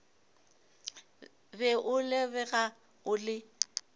be o lebega o le